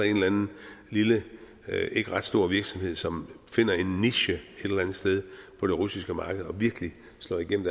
en eller anden lille ikke ret stor virksomhed som finder en niche et eller andet sted på det russiske marked og virkelig slår gennem